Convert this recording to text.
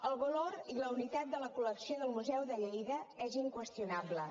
el valor i la unitat de la col·lecció del museu de lleida és inqüestionable